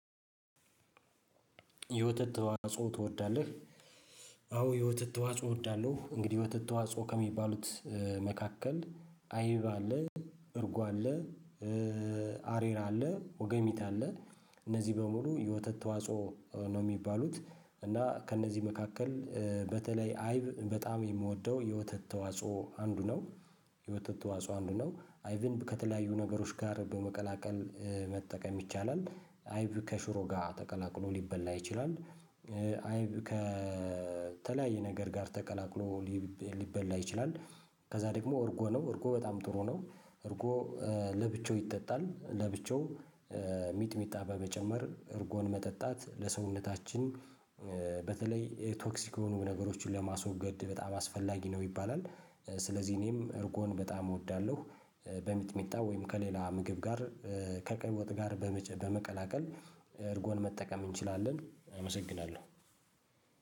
የወተት ተዋጽኦ ትወዳለህ? አዎ የወተት ተዋጽኦ እወዳለሁ። እንግዲህ የወተት ተዋጽኦ ከሚባሉት መካከል አይብ አለ እርጎ አለ አሬራ አለ ወገሚት አለ። እነዚህ በሙሉ የወተት ተዋጽኦ ነው የሚባሉት። እና ከእነዚህ መካከል በተለይ አይብ በጣም የምወደው የወተት ተዋጽኦ አንዱ ነው። የወተት ተዋጽኦ አንዱ ነው አይብን ከተለያዩ ነገሮች ጋር በመቀላቀል መጠቀም ይቻላል። አይብ ከሽሮ ጋር ተቀላቅሎ ሊበላ ይችላል። አይብ ከተለያየ ነገር ጋር ተቀላቅሎ ሊበላ ይችላል። ከዛ ደግሞ እርጎ ነው እርጎ በጣም ጥሩ ነው። እርጎ ለብቻው ይጠጣል። ለብቻው ሚጥሚጣ በመጨመር እርጎን መጠጣት ለሰውነታችን በተለይ ቶክሲክ የሆኑ ነገሮችን ለማስወገድ በጣም አስፈላጊ ነው። ይባላል ስለዚህ እኔም እርጎን በጣም እወዳለሁ። በሚጥሚጣ ወይም ከሌላ ምግብ ጋር ከቀይወጥ ጋር በመቀላቀል እርጎን መጠቀም እንችላለን። አመሰግናለሁ።